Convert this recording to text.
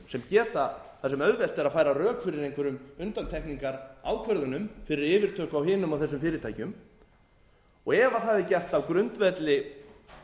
sem auðvelt er að færa rök fyrir einhverjum undantekningarákvörðunum fyrir yfirtöku á hinum og þessum fyrirtækjum ef það er gert á grundvelli